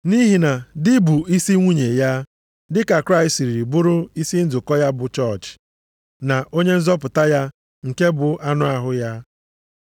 Nʼihi na di bụ isi nwunye ya, dị ka Kraịst siri bụrụ isi nzukọ ya bụ chọọchị, na Onye nzọpụta ya nke bụ anụ ahụ ya.